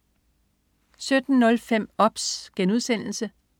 17.05 OBS*